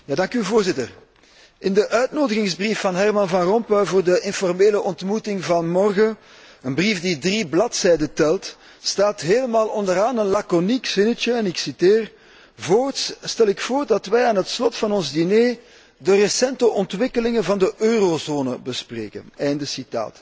Voorzitter, in de uitnodiging van Herman Van Rompuy voor de informele ontmoeting van morgen, een brief die drie bladzijden telt, staat helemaal onderaan een laconiek zinnetje, en ik citeer Voorts stel ik voor dat wij aan het slot van ons diner de recente ontwikkelingen van de eurozone bespreken. Einde citaat.